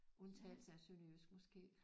Undtagelse af sønderjysk måske